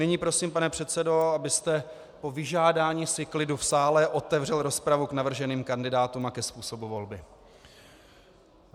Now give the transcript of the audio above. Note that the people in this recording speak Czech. Nyní prosím, pane předsedo, abyste po vyžádání si klidu v sále otevřel rozpravu k navrženým kandidátům a ke způsobu volby.